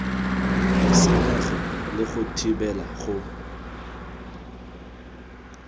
senyege le go thibela go